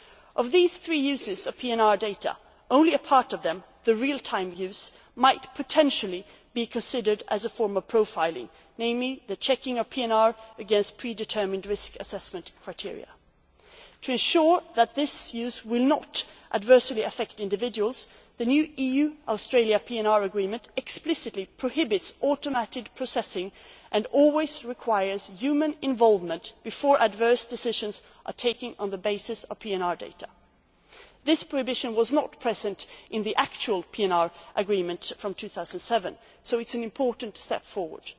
Of these three uses of PNR data, only one real time use might potentially be considered to be a form of profiling, in this case the checking of the PNR against pre determined risk assessment criteria. To ensure that this use will not adversely affect individuals, the new EU Australia PNR agreement explicitly prohibits automated processing and always requires human involvement before adverse decisions are taken on the basis of PNR data. This prohibition was not present in the PNR agreement from 2007, so it is an important step